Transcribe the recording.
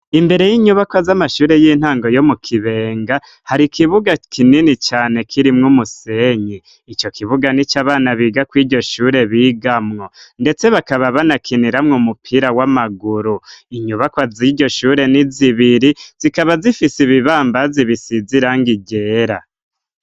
Imbere y'inyubakwa z'amashure y'intango yo mu kibenga hari ikibuga kinini cane kirimwo umusenyi ico kibuga ni co abana biga ko iryo shure bigamwo, ndetse bakaba banakiniramwo mupira w'amaguru inyubakwa z'iryo shure ni zibiri zikaba zifise ibibambazi bisizirango igera.